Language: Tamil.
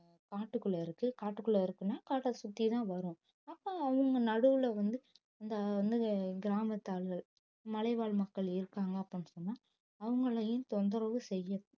காட்டுக்குள்ள இருக்கு காட்டுக்குள்ள இருக்குன்னு காட்டை சுத்திதான் வரும் அப்ப அவங்க நடுவுல வந்து இந்த வந்து கிராமத்தார்கள் மலைவாழ் மக்கள் இருக்காங்க அப்படின்னு சொன்னா அவங்களையும் தொந்தரவு செய்யும்